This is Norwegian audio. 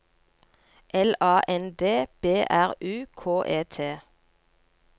L A N D B R U K E T